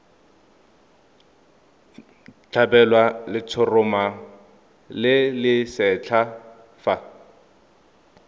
tlhabelwa letshoroma le lesetlha fa